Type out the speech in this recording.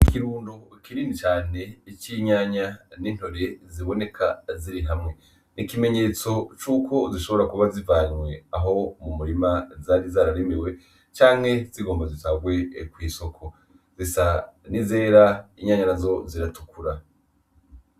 Ikirundu kirini cane ico inyanya n'intore ziboneka ziri hamwe 'ikimenyetso c'uko zishobora kuba zivanywe aho mu murima zari zararemiwe canke zigombozo vagwe kw'isoko zisa ni zera inyanya na zo ziratukura.